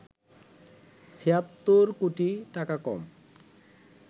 ৭৬ কোটি টাকা কম